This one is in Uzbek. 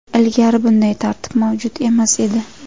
Ilgari bunday tartib mavjud emas edi.